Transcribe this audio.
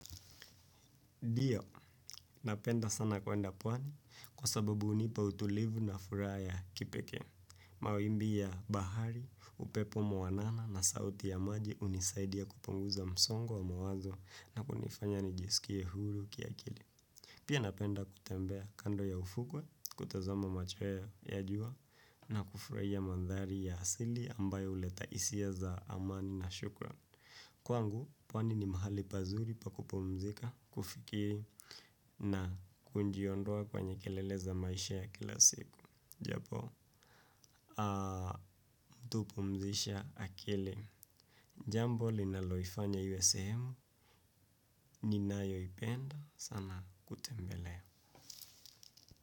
Ndio, napenda sana kwenda pwani kwa sababu unipa utulivu na furaha ya kipekee. Mawimbi ya bahari, upepo mwanana na sauti ya maji unisaidia kupunguza msongo wa mawazo na kunifanya nijisikie huru kiakili. Pia napenda kutembea kando ya ufukwe, kutazama machweya ya jua na kufurahia mandhari ya asili ambayo uleta isia za amani na shukran. Kwangu, pwani ni mahali pazuri pa kupumzika, kufikiri, na kunjiondoa kwenye kelele za maisha ya kila siku. Japo, mtu hupumzisha akili. Jambo, linaloifanya iwe sehemu, ninayoipenda, sana kutembelea.